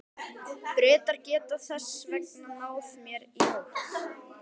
Bretar geta þess vegna náð mér í nótt.